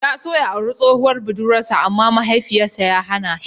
Ya so ya auri tsohuwar budurwar sa amma Mahaifin sa ya hana shi.